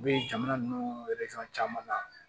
U bɛ jamana ninnu caman na